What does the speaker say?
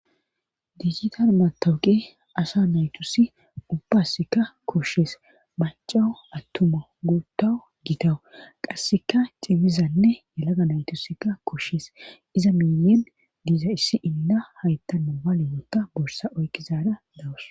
Digitar matawuqi asa naytusi ubbasikka koshshees macawu attuma guuttawu gitawu qasseka cimmizanne yalaga naytusikka koshshees iza miyen diiza issi inda haytta momale wonta borsa oykki zaada dawus